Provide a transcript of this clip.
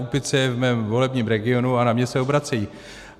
Úpice je v mém volebním regionu a na mě se obracejí.